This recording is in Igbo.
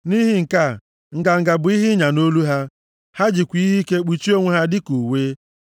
Nʼihi nke a, nganga bụ ihe ịnya nʼolu ha; ha jikwa ihe ike kpuchie onwe ha dịka uwe.